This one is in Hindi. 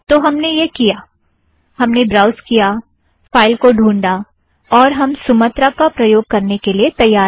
तो हमने यह किया - हमने ब्राउज़ किया फ़ाइल को ढ़ूँढा और अब हम सुमत्रा का प्रयोग करने के लिए तैयार है